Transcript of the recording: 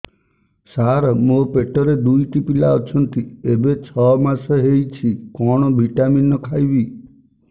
ସାର ମୋର ପେଟରେ ଦୁଇଟି ପିଲା ଅଛନ୍ତି ଏବେ ଛଅ ମାସ ହେଇଛି କଣ ଭିଟାମିନ ଖାଇବି